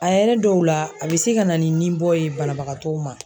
A yɛrɛ dɔw la a bɛ se ka na ni ninbɔ ye banabagatɔw ma.